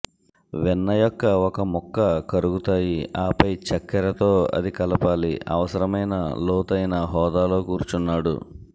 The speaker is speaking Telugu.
వెన్న యొక్క ఒక ముక్క కరుగుతాయి ఆపై చక్కెర తో అది కలపాలి అవసరమైన లోతైన హోదాలో కూర్చున్నాడు